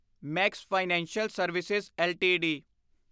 Max financial service LTD